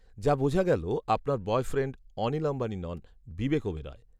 যা বোঝা গেল আপনার বয়ফ্রেণ্ড, অনিল আম্বানি নন, বিবেক ওবেরয়